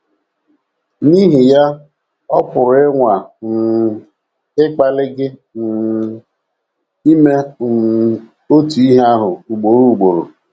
N’ihi ya, ọ pụrụ ịnwa um ịkpali gị um ime um otu ihe ahụ ugboro ugboro.